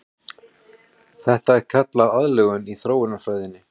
Þetta er kallað aðlögun í þróunarfræðinni.